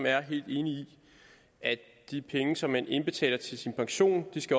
er helt enige i at de penge som man indbetaler til sin pension